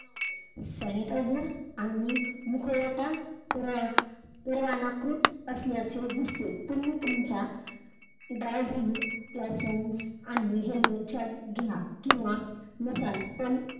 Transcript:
Sanitizer आणि मुखवटा परवाना परवानाकृत असल्याचे दिसते. तुम्ही तुमच्या driving license किंवा helmet च्या घ्या किंवा नसाल पण,